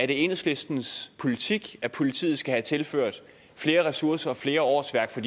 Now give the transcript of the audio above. det er enhedslistens politik at politiet skal have tilført flere ressourcer og flere årsværk for